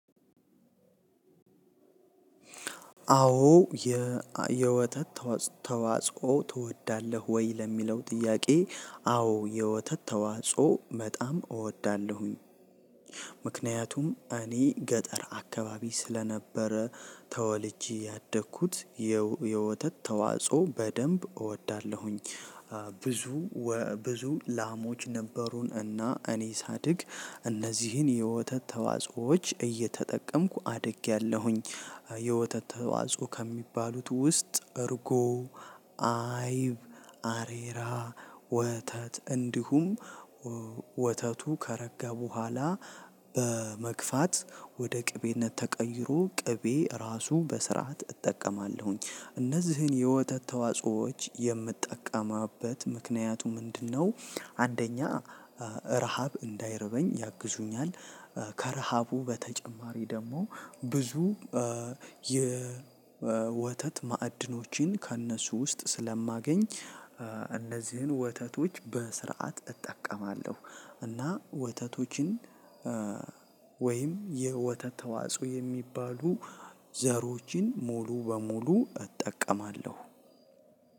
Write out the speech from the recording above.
አዎ የወተት ተዋጽኦ ትወዳለህ ወይ? ለሚለው ጥያቄ አዎ የወተት ተዋጽኦ በጣም እወዳለሁኝ። ምክንያቱም እኔ ገጠር አካባቢ ስለነበረ ተወልጄ ያደግኩት የወተት ተዋጽኦ በደንብ እወዳለሁኝ። ብዙ ብዙ ላሞች ነበሩን እና እኔ ሳድግ እነዚህን የወተት ተዋጽኦዎች እየተጠቀምኩ አድጌያለሁኝ። የወተት ተዋጽኦ ከሚባሉት ውስጥ እርጎ፣ አይብ፣ አሬራ፣ ወተት እንዲሁም ወተቱ ከረጋ በኋላ በመግፋት ወደ ቅቤነት ተቀይሮ ቅቤ ራሱ በስርዓት እጠቀማለሁኝ። እነዚህን የወተት ተዋጾዎች የምጠቀምበት ምክንያቱ ምንድነው? አንደኛ ረሃብ እንዳይረበኝ ያግዙኛል፤ ከረሃቡ በተጨማሪ ደግሞ ብዙ የወተት መአድኖችን ከነሱ ውስጥ ስለማገኝ እነዚህን ወተቶች በስርዓት እጠቀማለሁ፤ እና ወተቶችን ወይም የወተት ተዋጽኦ የሚባሉ ዘሮችን ሙሉ በሙሉ እጠቀማለሁ።